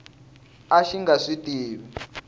a xi nga swi tivi